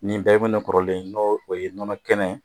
Ni bɛ kɔrɔlen n'o o ye nɔnɔ kɛnɛ ye.